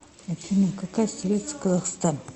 афина какая столица казахстан